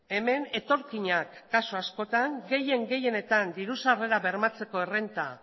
hemen etorkinak kasu askotan gehien gehienetan diru sarrera bermatzeko errenta